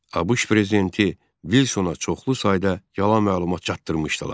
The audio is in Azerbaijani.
ABŞ prezidenti Vilsona çoxlu sayda yalan məlumat çatdırmışdılar.